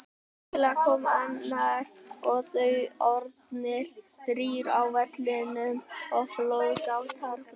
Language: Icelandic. Skyndilega kom annar og þá orðnir þrír á vellinum og flóðgáttir brustu.